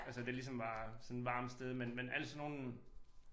Altså det ligesom var sådan varmt sted men men alt sådan nogle